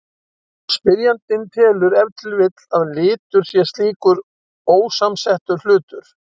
Spyrjandinn telur ef til vill að litur sé slíkur ósamsettur hlutur.